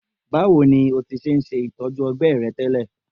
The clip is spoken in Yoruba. Bawo ni o ti ṣe itọju ọgbẹ rẹ tẹlẹ?